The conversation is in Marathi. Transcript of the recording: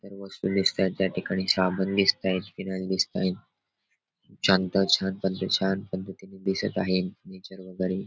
इतर वस्तू दिसत्यात त्या ठिकाणी साबण दिसतायत फिनाईल दिसतायत छान पद्धतीने दिसत आहे नेचर वगैरे.